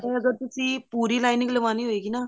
or ਅਗਰ ਤੁਸੀਂ ਪੂਰੀ lining ਲਗਵਾਉਣੀ ਹੋਵੇਗੀ ਨਾ